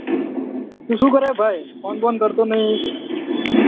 તું શું કરે ભાઈ ફોન બોન કરતો નહી